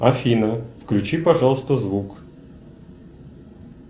афина включи пожалуйста звук